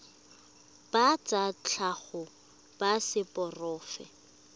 ba tsa tlhago ba seporofe